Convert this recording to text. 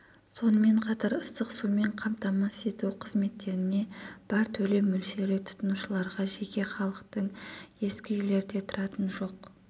сонымен қатар ыстық сумен қамтамасызету қызметтеріне бар төлем мөлшері тұтынушыларға жеке халықтың ескі үйлерде тұратын жоқ